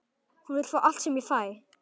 Hún vill fá allt sem ég fæ.